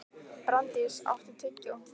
Branddís, áttu tyggjó?